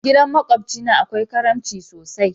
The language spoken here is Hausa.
Gidan makobci na akwai karimci sosai.